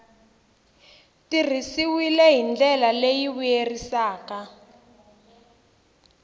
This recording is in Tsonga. tirhisiwile hi ndlela leyi vuyerisaka